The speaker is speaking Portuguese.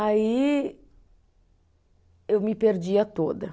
Aí eu me perdia toda.